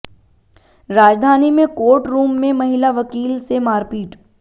राजधानी में court room में महिला वकील से मारपीट